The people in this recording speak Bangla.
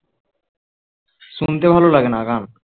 শুনতে ভালো লাগেনা গান